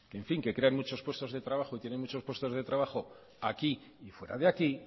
en fin que crean muchos puestos de trabajo y tienen muchos puestos de trabajo aquí y fuera de aquí